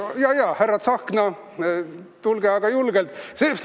Jajaa, härra Tsahkna, tulge aga julgelt!